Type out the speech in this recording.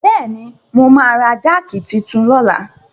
Bẹ́ẹ̀ni, mo máa ra jáàkì titun lọ́la.